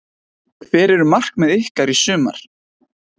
Hver eru markmið ykkar í sumar?